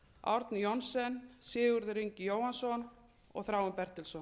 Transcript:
árni johnsen sigurður ingi jóhannsson og þráinn bertelsson